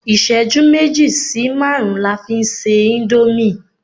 iṣẹju meji sí marun la fi n se Indomie